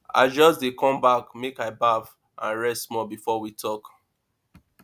i just dey come back make i baff and rest small before we talk